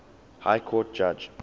high court judge